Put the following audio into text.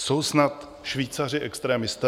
Jsou snad Švýcaři extremisté?